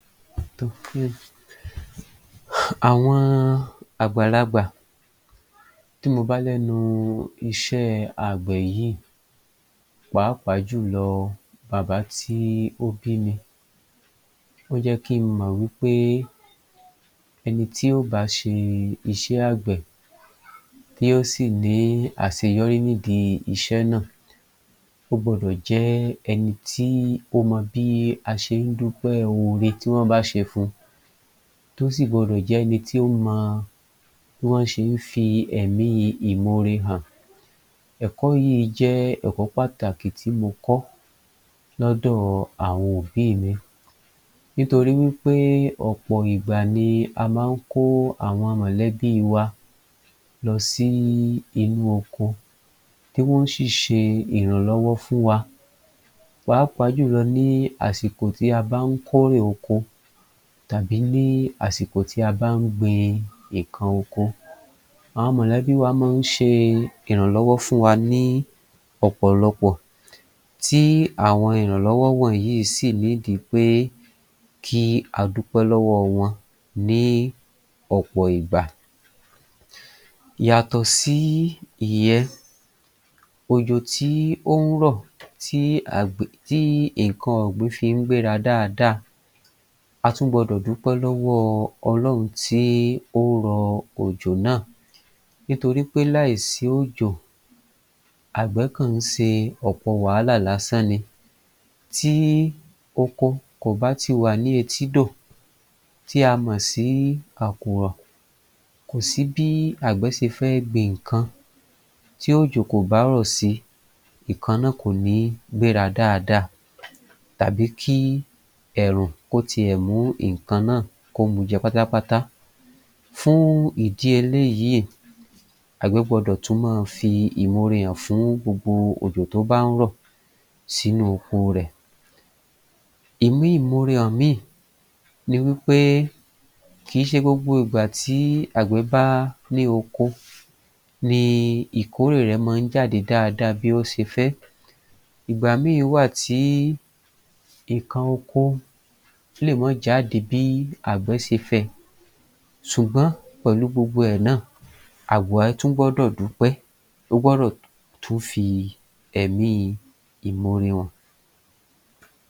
àwọn àgbàlagbà tí mo bá lẹ́nu iṣẹ́ àgbẹ̀ yìí pàápàá jù lọ bàbá tí ó bími, ó jẹ́ kí n mọ wí pé ẹni tí ó ba ṣe iṣẹ́ àgbẹ̀ tí ó sì ní àseyọrí nídìí iṣẹ́ náà, o gbọ́dọ̀ jẹ́ ẹni tí ó mọ bí a ṣe ń dúpẹ́ ore tí wọ́n bá ṣe fun tó sì gbọ́dọ̀ jẹ́ ẹni tí ó mọ bí aṣe ń dúpẹ́ ore tí wọ́n bá ṣe fun. Tó sì gbọ́dọ̀ jẹ́ ẹni tí ó mọ bí wọ́n ṣé ń fi ẹ̀mí ìmore hàn. Ẹ̀kọ́ yìí jẹ́ ẹ̀kọ́ pàtàkì tí mo kọ lọ́dọ̀ àwọn òbí mi nitori wí pé ọ̀pọ̀ ìgbà ni a máa ń kó àwọn mọ̀lẹ́bí wa lọ sí inú oko tí wọ́n ṣì ṣe ìrànlọ́wọ́ fún wa pàápàá jù lọ ní àsìkò tí a bá ń kórè oko tàbí ní àsìkò tí a bá ń gbin nǹkan oko. Àwọn mọ̀lẹ́bí wa máa ń ṣe ìrànlọ́wọ́ fún wa ní ọ̀pọ̀lọpọ̀. Tí àwọn ìrànlọ́wọ́ wọnyìí sì pé kí a dúpẹ́ lọ́wọ́ wọn ní ọ̀pọ̀ ìgbà. Yàtọ̀ sí ìyẹn òjò tí ó ń rọ̀ tí àgbẹ̀ tí nǹkan ọ̀gbìn fí ń gbéra dáadáa, a tún gbọ́dọ̀ dúpẹ́ lọ́wọ́ Ọlọ́hun tí ó rọ òjò náà. Nítorí pé láì sí òjò àgbẹ̀ kàn ń se ọ̀pọ̀ wàhálà lásán ni. Tí oko kò bá ti wà ní etídò tí a mọ̀ sí Àkùrọ̀ kò sí bí àgbẹ̀ se fẹ́ gbin nǹkan tí òjò kò bá rọ̀ si, ìkan náà kò ní gbéra dáadáa tàbí kí ẹ̀rùn tiẹ̀ mú nǹkan náà kó mujẹ pátápátá. Fún ìdí eléyìí, àgbẹ̀ gbọdọ̀ tún máa fi ìmore hàn fún gbogbo òjò tó bá ń rọ̀ sínú oko rẹ̀. Ìmí ìmore hàn mí ni wí pé kì í ṣe gbogbo ìgbà tí àgbẹ̀ bá ní oko ni ìkórè rẹ̀ máa ń jáde dáadáa bí ó se fẹ́ ìgbà mi wà tí ìkan oko lè ma jáde bí àgbẹ̀ ṣe fẹ́ẹ sùgbọ́n pẹ̀lú gbogbo ẹ náà, àgbẹ̀ tún gbọ́dọ̀ dúpẹ́ ó gbọ́dọ̀ tún fi ẹ̀mí ìmore hàn.